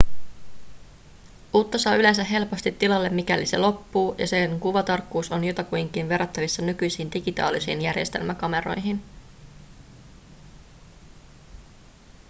uutta saa yleensä helposti tilalle mikäli se loppuu ja sen kuvatarkkuus on jotakuinkin verrattavissa nykyisiin digitaalisiin järjestelmäkameroihin